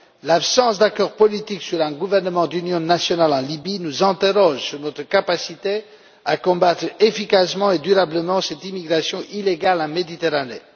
L'absence d'accord politique sur un gouvernement d'union nationale en Libye nous interroge sur notre capacité à combattre efficacement et durablement cette immigration illégale en Méditerranée.